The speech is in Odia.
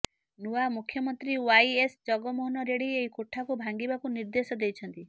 ନୂଆ ମୁଖ୍ୟମନ୍ତ୍ରୀ ୱାଇଏସ ଜଗନମୋହନ ରେଡି ଏହି କୋଠାକୁ ଭାଙ୍ଗିବାକୁ ନିର୍ଦ୍ଦେଶ ଦେଇଛନ୍ତି